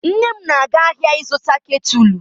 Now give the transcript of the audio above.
Nne m na-aga ahịa ịzụta ketụlụ.